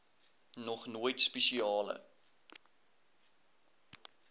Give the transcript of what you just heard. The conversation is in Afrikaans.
nog nooit spesiale